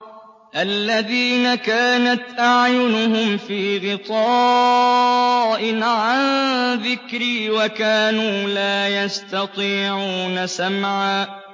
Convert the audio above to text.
الَّذِينَ كَانَتْ أَعْيُنُهُمْ فِي غِطَاءٍ عَن ذِكْرِي وَكَانُوا لَا يَسْتَطِيعُونَ سَمْعًا